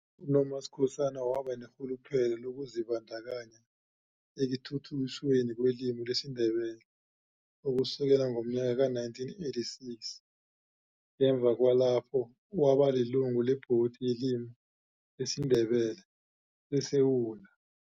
UNom Skhosana waba nerhuluphelo lokuzibandakanya ekuthuthukisweni kwelimi lesiNdebele ukusukela ngomyaka ka 1986 ngemva kwalapho waba lilungu leBhodi yeLimi lesiNdebele seSewula.